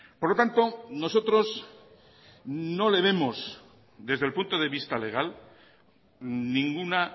por lo tanto nosotros no le vemos desde el punto de vista legal ninguna